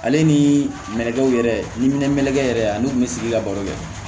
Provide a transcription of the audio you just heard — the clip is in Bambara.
Ale ni nɛgɛw yɛrɛ yɛrɛ ani kun be sigi ka baro kɛ